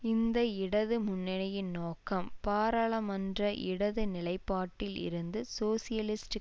இந்த இடது முன்னணியின் நோக்கம் பாராளுமன்ற இடது நிலைப்பாட்டில் இருந்து சோசியலிஸ்ட்